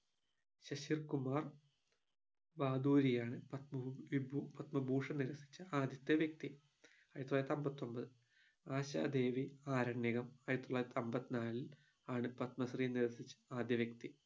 ശിശിർ കുമാർ ബാദൂരിയാണ് പത്മവിഭൂ പത്മഭൂഷൺ നിരസിച്ച ആദ്യത്തെ വ്യക്തി ആയിരത്തി തൊള്ളായിരത്തിഅമ്പത്തൊമ്പത് ആശാ ദേവി ആരണ്യകം ആയിരത്തി തൊള്ളായിരത്തിഅമ്പതിനാല് ആണ് പത്മശ്രീ നിരസിച്ച ആദ്യ വ്യക്തി